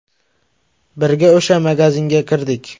Birga o‘sha magazinga kirdik.